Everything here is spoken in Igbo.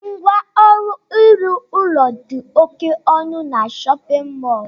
Ngwa ọrụ ịrụ ụlọ dị oké ọnụ n'shóppin mol